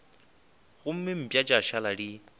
gomme mpa tša šala di